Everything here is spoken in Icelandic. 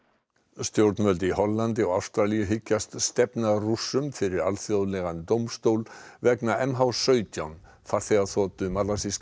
stjórnvöld í Hollandi og Ástralíu hyggjast stefna Rússum fyrir alþjóðlegan dómstól vegna m h sautján farþegaþotu